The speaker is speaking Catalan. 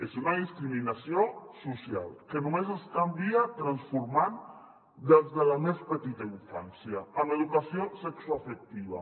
és una discriminació social que només es canvia transformant des de la més petita infància amb educació sexoafectiva